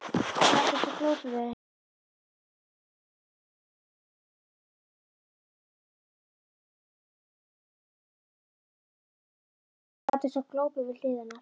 Sat eins og glópur við hlið hennar.